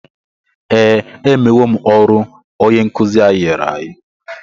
Ee, emewo m ọrụ onye nkụzi anyị nyere anyị.